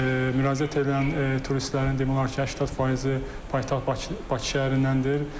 Müraciət eləyən turistlərin demək olar ki, 80 faizi paytaxt Bakı şəhərindəndir.